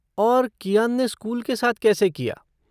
और कियान ने स्कूल के साथ कैसे किया?